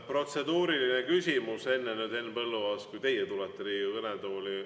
Protseduuriline küsimus enne, Henn Põlluaas, kui teie tulete Riigikogu kõnetooli.